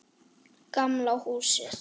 Gamla húsið.